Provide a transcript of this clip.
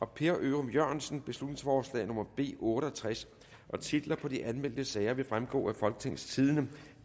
per ørum jørgensen beslutningsforslag nummer b otte og tres titler på de anmeldte sager vil fremgå af folketingstidende